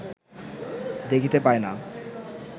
দেখিতে পায় না